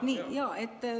No nii.